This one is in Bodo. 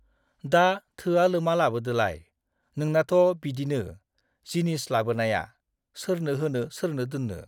दा थोआ लोमा लाबोदोलाय, नोंनाथ' बिदिनो जिनिस लाबोनाया, सोरनो होनो सोरनो दोन्नो ।